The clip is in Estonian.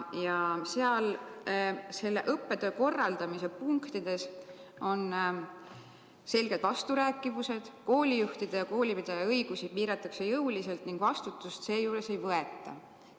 Ja seal on õppetöö korraldamise punktides selged vasturääkivused, koolijuhtide ja koolipidajate õigusi piiratakse jõuliselt ning vastutust seejuures ei võeta.